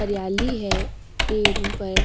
हरियाली है पेड़ों पर।